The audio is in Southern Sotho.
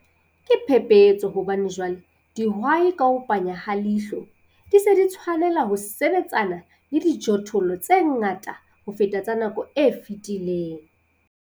Ke phephetso hobane jwale dihwai ka ho panya ha leihlo di se di tshwanela ho sebetsana le dijothollo tse ngata ho feta tsa nako e fetileng.